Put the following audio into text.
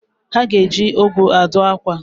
Ha ga-eji owu adụ akwa